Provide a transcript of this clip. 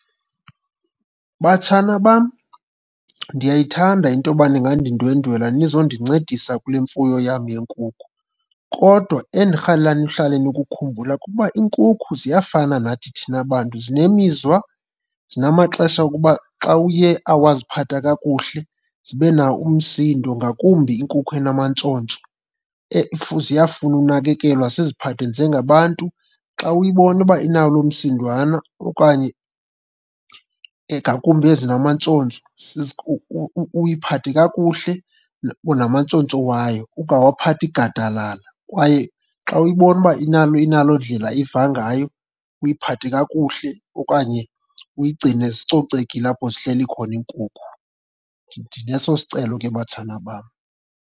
Batshana bam, ndiyayithanda into yoba ningandindwendwela nizondincedisa kule mfuyo yam yeenkukhu. Kodwa endirhalela nihlale nikukhumbula kuba iinkukhu ziyafana nathi thina bantu zinemizwa, zinamaxesha okuba xa uye awaziphatha kakuhle zibe nawo umsindo, ngakumbi inkukhu amantshontsho. Ziyafuna unakekelwa siziphathe njengabantu. Xa uyibona uba inawo lo msindowana okanye, ngakumbi ezinamantshontsho, uyiphathe kakuhle namantshontsho wayo, ungawaphathi gadalala. Kwaye xa uyibona uba inaloo ndlela iva ngayo, uyiphathe kakuhle okanye uyigcine zicocekile apho zihleli khona iinkukhu. Ndineso sicelo ke batshana bam.